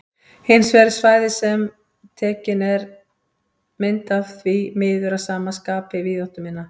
Hins vegar er svæðið sem tekin er mynd af því miður að sama skapi víðáttuminna.